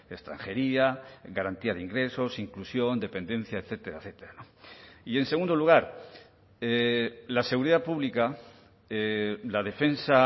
extranjería garantía de ingresos inclusión dependencia etcétera etcétera y en segundo lugar la seguridad pública la defensa